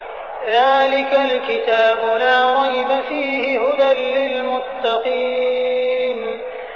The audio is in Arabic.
ذَٰلِكَ الْكِتَابُ لَا رَيْبَ ۛ فِيهِ ۛ هُدًى لِّلْمُتَّقِينَ